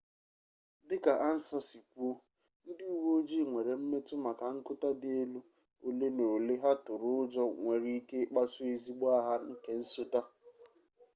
dika ansa si kwuo ndi uwe-ojii nwere mmetu maka nkuta di-elu ole na ole ha turu-ujo nwere-ike ikpasu ezigbo agha nke nsota